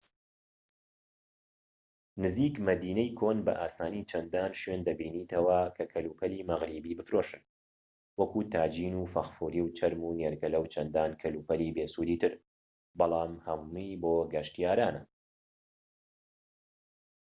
نزیک مەدینەی کۆن بە ئاسانی چەندان شوێن دەبینیتەوە کە کەلوپەلی مەغریبی بفرۆشن وەکو تاجین و فەخفوری و چەرم و نێرگەلە و چەندان کەلوپەلی بێسوودی تر بەلام هەمووی بۆ گەشتیارانە